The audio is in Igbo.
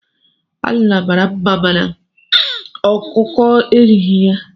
Alila mara nma mànà ọkụkọ erighi ya.